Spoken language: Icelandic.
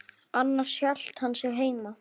Annars hélt hann sig heima.